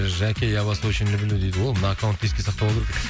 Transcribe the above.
жәке я вас очень люблю дейді о мына аккаунтты еске сақтап алу керек